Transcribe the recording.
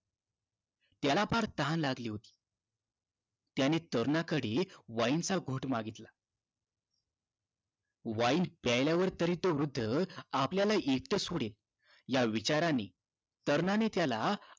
त्याला फार तहान लागली होती त्याने तरुणाकडे wine चा घोट मागितला wine प्यायल्यावर तरी तो वृद्ध आपल्याला एकटं सोडेल या विचाराने तरुणाने त्याला